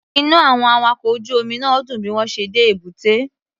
Inú àwọn awakọ̀ ojú omi náà dùn bí wọ́n ṣe dé èbúté.